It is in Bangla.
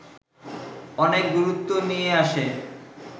অনেক গুরুত্ব নিয়ে আসে